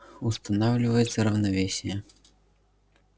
устанавливается равновесие